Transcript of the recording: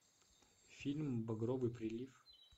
фильм багровый прилив